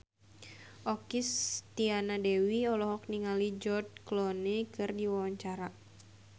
Okky Setiana Dewi olohok ningali George Clooney keur diwawancara